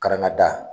Karangada